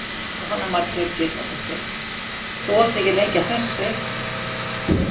Jóhanna Margrét Gísladóttir: Þú varst ekki lengi að þessu?